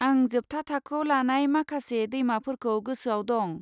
आं जोबथा थाखोआव लानाय माखासे दैमाफोरखौ गोसोआव दं।